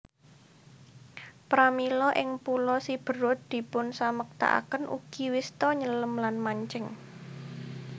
Pramila ing Pulo Siberut dipunsamektakaken ugi wista nyelem lan mancing